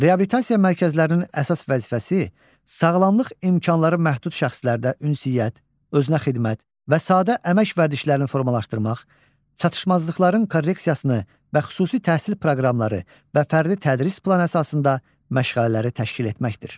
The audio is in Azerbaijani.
Reabilitasiya mərkəzlərinin əsas vəzifəsi sağlamlıq imkanları məhdud şəxslərdə ünsiyyət, özünəxidmət və sadə əmək vərdişlərini formalaşdırmaq, çatışmazlıqların korreksiyasını və xüsusi təhsil proqramları və fərdi tədris planı əsasında məşğələləri təşkil etməkdir.